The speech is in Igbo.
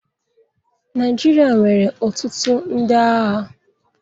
Naịjirịa nwere ọtụtụ ndị agha.